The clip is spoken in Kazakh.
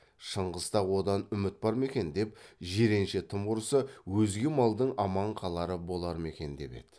шыңғыста одан үміт бар ма екен деп жиренше тым құрса өзге малдың аман қалары болар ма екен деп еді